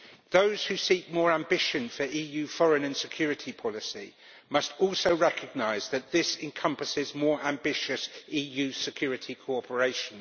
Those who seek more ambition for EU foreign and security policy must also recognise that this encompasses more ambitious EU security cooperation.